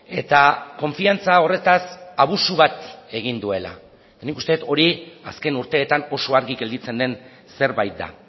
eta konfiantza horretaz abusu bat egin duela nik uste dut hori azken urteetan oso argi gelditzen den zerbait da